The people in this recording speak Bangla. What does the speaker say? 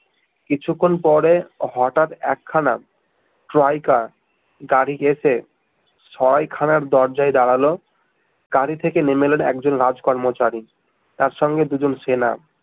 কিছুক্ষন পরে হটাৎ একখানা ট্রাইকা গাড়ি গেছে সরাইখানার দরজায় দাঁড়ালো গাড়ি থেকে নেমে এলো একজন রাজ কর্মচারী তার সঙ্গে দু জন সেনা